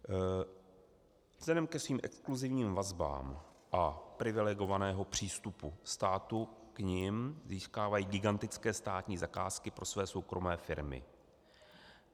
Vzhledem ke svým exkluzivním vazbám a privilegovanému přístupu státu k nim získávají gigantické státní zakázky pro své soukromé firmy.